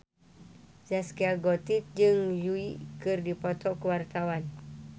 Zaskia Gotik jeung Yui keur dipoto ku wartawan